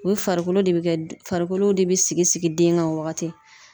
O ye farikolo de be kɛ, farikolo de be sigi sigi den kan o wagati.